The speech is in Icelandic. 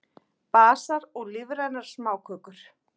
Basar og lífrænar smákökur